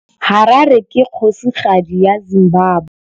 Harare ke kgosigadi ya Zimbabwe.